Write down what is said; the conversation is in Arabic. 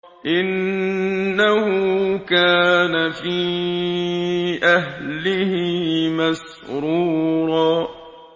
إِنَّهُ كَانَ فِي أَهْلِهِ مَسْرُورًا